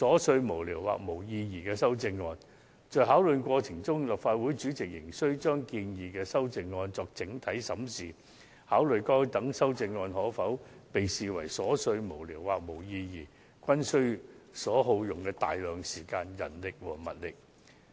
在作出裁決的過程中，立法會主席仍需對建議的修正案作整體審視，考慮該等修正案是否屬瑣屑無聊或無意義，更須耗費大量時間、人力及物力。